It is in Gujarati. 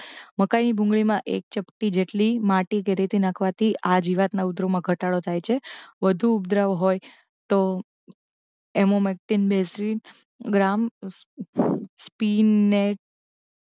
મકાઇની ભૂંગળીમાં એક ચપટી જેટલી માટી કે રેતી નાખવાથી આ જીવાતના ઉપદ્રવમાં ઘટાડો થાય છે વધુ ઉપદ્રવ હોય તો એમોમેક્ટિન એસજી ગ્રામ પીન ને